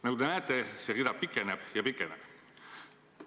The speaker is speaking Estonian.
" Nagu te näete, see rida pikeneb ja pikeneb.